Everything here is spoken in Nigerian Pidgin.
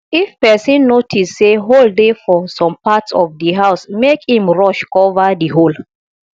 if person notice sey hole dey for some parts of di house make im rush cover di hole